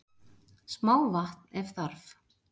smá vatn ef þarf